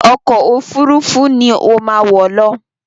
Ọkọ òfurufú ni ó má wọ̀ lọ!